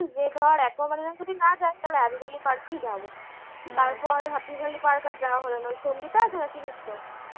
যে ধর aquamarine যদি না যাই তালে park ই যাব তারপর happy valley park আর যাওয়া হল না ওই সঙ্গিতা আছে না চিনিস তো